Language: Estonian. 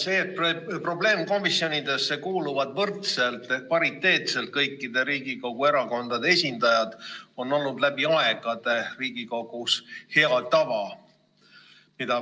See, et probleemkomisjonidesse kuuluvad võrdselt ehk pariteetselt kõikide Riigikogu erakondade esindajad, on olnud läbi aegade Riigikogus hea tava, mida